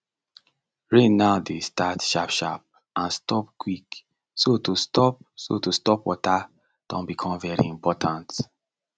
rain now dey start sharp sharp and stop quick so to store so to store water don become very important